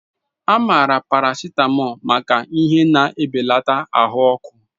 A maara paracetamol maka ihe na-ebelata ahụ ọkụ.